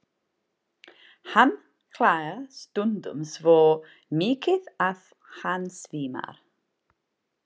Hann hlær stundum svo mikið að hann svimar.